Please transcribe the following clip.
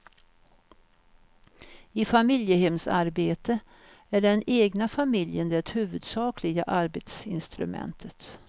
I familjehemsarbete är den egna familjen det huvudsakliga arbetsinstrumentet.